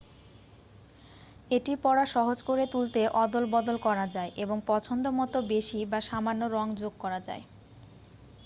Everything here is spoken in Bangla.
এটি পড়া সহজ করে তুলতে অদলবদল করা যায় এবং পছন্দ মতো বেশি বা সামান্য রঙ যোগ করা যায়